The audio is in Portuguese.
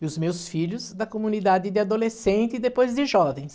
E os meus filhos da comunidade de adolescente e depois de jovens.